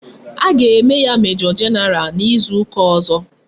A ga eme ya major general na izu uka ozo